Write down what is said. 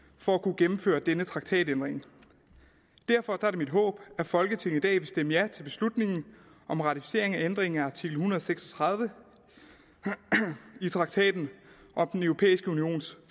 for at kunne gennemføre denne traktatændring derfor er det mit håb at folketinget i dag vil stemme ja til beslutningen om ratificeringen af ændringen af artikel en hundrede og seks og tredive i traktaten om den europæiske unions